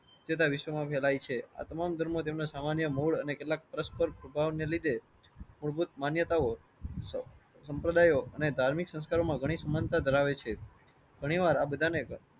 વિશ્વમાં ફેલાઈ છે. આ તમામ ધર્મો તેમના સામાન્ય મૂળ અને કેટલાક પરસ્પર લીધે મૂળભૂત માન્યતાઓ સમ સંપ્રદાયો અને ધાર્મિક સંસ્કારો માં ઘણી સમાનતા ધરાવે છે. ઘણી વાર આ બધાને